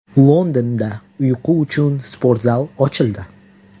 Londonda uyqu uchun sportzal ochildi.